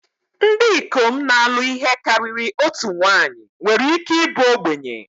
Ndị ikom na-alụ ihe karịrị otu nwanyị nwere ike ịbụ ogbenye